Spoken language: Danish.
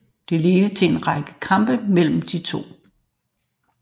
Det ledte til en række kampe mellem de to